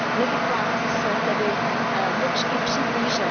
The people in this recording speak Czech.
Nevyplácí se tedy mlčky přihlížet.